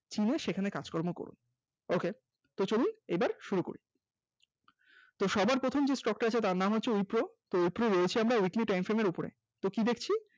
চিনে সেখানে কাজকর্ম করুন ok তো চলুন এবার শুরু করি সবার প্রথমে যে stock টা আছে তার নাম হচ্ছে wipro wipro রয়েছি আমরা weekly time frame এর উপরে তো কি দেখছি